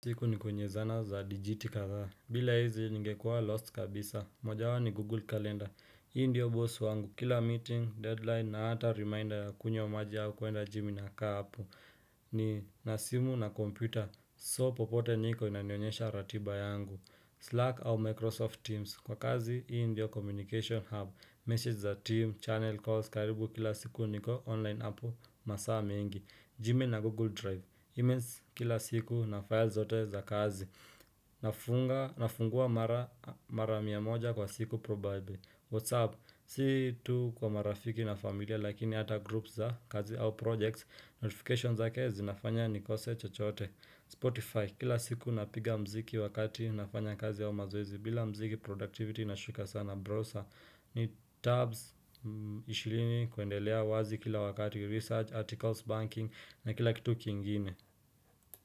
Siku niko nye zana za digiti kazaa. Bila hizi ningekua lost kabisa. Mojawapo ni Google Calendar. Hii ndiyo boss wangu. Kila meeting, deadline na hata reminder ya kunywa maji au kuenda gym na inakaa hapo. Nina simu na kompyuta. So popote niko inanionyesha ratiba yangu. Slack au Microsoft Teams. Kwa kazi, hii ndiyo communication hub. Message za timu, channel calls. Karibu kila siku niko online hapo. Masa mengi. Jimmy na Google Drive. E-mails kila siku na files zote za kazi nafungua mara miamoja kwa siku probably Whatsapp Si tu kwa marafiki na familia lakini ata groups za kazi au projects Notifications ake zinafanya nikose chochote Spotify Kila siku napiga mziki wakati nafanya kazi au mazoezi bila mziki productivity inashuka sana Browser ni tabs 20 kuendelea wazi kila wakati research, articles, banking na kila kitu kingine.